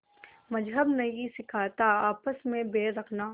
मज़्हब नहीं सिखाता आपस में बैर रखना